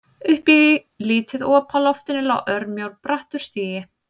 Upp í lítið op á loftinu lá örmjór og brattur stigi.